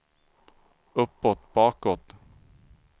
uppåt bakåt